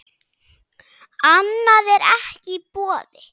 Annað er ekki í boði.